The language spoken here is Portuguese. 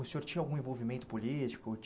O senhor tinha algum envolvimento político?